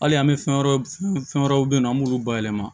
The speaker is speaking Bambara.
Hali an bɛ fɛn wɛrɛw fɛn wɛrɛw bɛ yen nɔ an b'olu bayɛlɛma